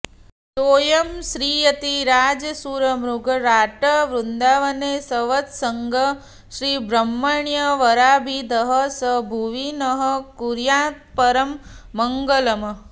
सोयं श्रीयतिराजशूरमृगराट् वृन्दावने संवसन्ग् श्रीब्रह्मण्यवराभिधः स भुवि नः कुर्यात्परं मङ्गलम्